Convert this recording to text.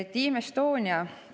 Team Estonia.